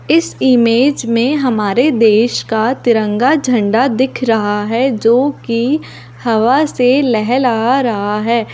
ईस image मैं हमारे देश का तिरंगा झंडा दिख रहा है जो की हवा से लहेला रहा है अब--